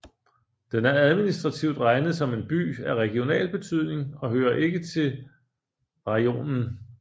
Den er administrativt regnet som en By af regional betydning og hører ikke til rajonen